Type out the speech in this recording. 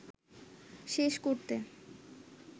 শেষ করতে